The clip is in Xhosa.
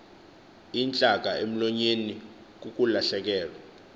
intlaka emlonyeni kukulahlekwa